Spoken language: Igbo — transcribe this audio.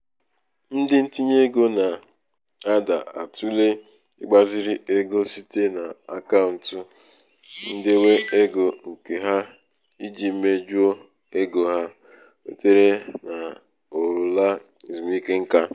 ndị ntinye ego nà-àda atụ̀le ịgbāzīrī egō site n’àkaụ̀ǹtụ̀ ndewe egō ǹ̀kè ha ijī mejuo ego ha nwètèrè n’ụ̀la èzùmike ṅkā.